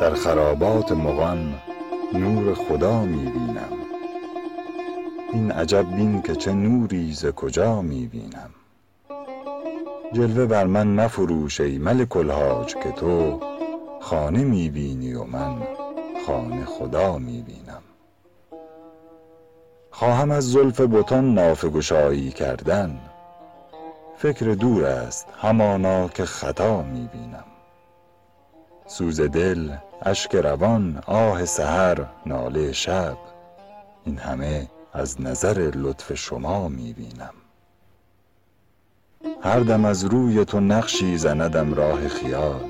در خرابات مغان نور خدا می بینم این عجب بین که چه نوری ز کجا می بینم جلوه بر من مفروش ای ملک الحاج که تو خانه می بینی و من خانه خدا می بینم خواهم از زلف بتان نافه گشایی کردن فکر دور است همانا که خطا می بینم سوز دل اشک روان آه سحر ناله شب این همه از نظر لطف شما می بینم هر دم از روی تو نقشی زندم راه خیال